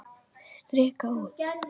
Strika út.